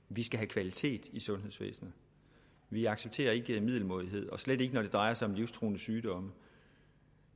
vi skal have kvalitet i sundhedsvæsenet vi accepterer ikke middelmådighed slet ikke når det drejer sig om livstruende sygdomme